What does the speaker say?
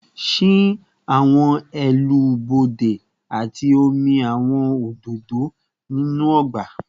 Ṣii awọn ẹnu-bode ati omi awọn ododo ninu ọgba